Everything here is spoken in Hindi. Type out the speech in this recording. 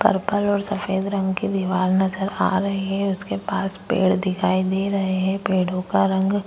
पर्पल और सफेद रंग की निवाल नजर आ रही है उसके पास पेड़ दिखाई दे रहे हैं पेड़ों का रंग